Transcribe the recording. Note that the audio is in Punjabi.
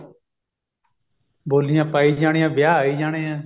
ਬੋਲੀਆਂ ਪਾਈ ਜਾਣੇਆ ਵਿਆਹ ਆਈ ਜਾਣੇ ਏ